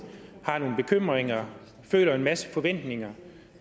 har nogle bekymringer og føler en masse forventninger